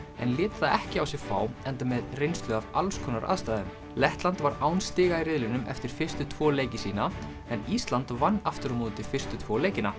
en lét það ekki á sig fá enda með reynslu af alls konar aðstæðum Lettland var án stiga í riðlinum eftir fyrstu tvo leiki sína en Ísland vann aftur á móti fyrstu tvo leikina